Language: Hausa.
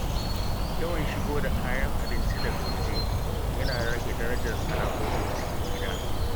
Yawan shigo da kayan abinci daga waje yana rage darajar sana’o’in cikin gida.